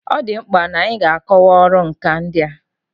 Ọ dị mkpa n'anyị ga-akọwa ọrụ nkà ndị a.